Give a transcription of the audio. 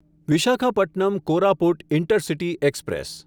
Visakhapatnam Koraput intercity express